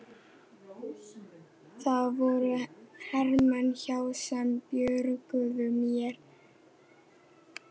Það voru hermenn, já, sem björguðu mér.